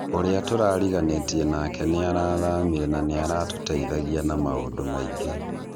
ũra turariganĩtie nake narathamire na naratũteithagia na maũndũ maingĩ.